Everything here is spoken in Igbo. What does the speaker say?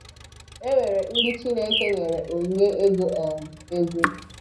E nwere ndị Chineke nyere onyinye ịgụ um egwu